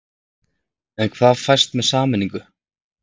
En hvað fæst með sameiningu?